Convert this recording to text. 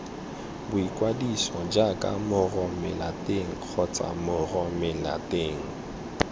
boikwadiso jaaka moromelateng kgotsa moromelateng